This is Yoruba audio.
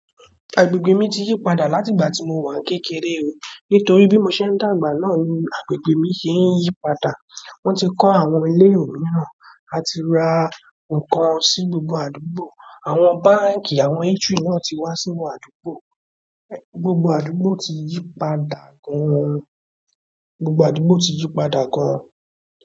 Agbègbè mi tiyi padà láti ìgbà ti mo wa ni kékeré o. Nítorí bí mo ṣe ń dàgbà náà ni agbègbè mi ṣe ń yí padà. Wọ́n ti kọ́ àwọn ilé mìíràn, a ti ra nǹkan sí gbogbo àdúgbò, àwọn báǹkì, àwọn eatry náà ti wá sínú àdúgbò. Gbogbo-- gbogbo àdúgbò ti yí padà gan.